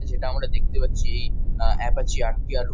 যেটা আমারা দেখতে পাচ্ছি আ অ্যাপাচি আর. টি. আর. --